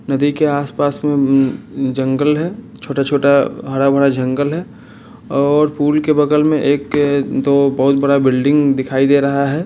नदी के आसपास-म जंगल है छोटा छोटा हरा भरा जंगल है और फूल के बगल मे एक दो बहुत बड़ा बिल्डिंग दिखाई दे रहा है।